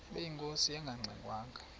ubeyinkosi engangxe ngwanga